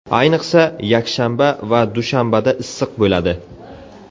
Ayniqsa, yakshanba va dushanbada issiq bo‘ladi.